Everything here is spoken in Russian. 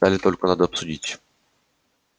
детали только надо обсудить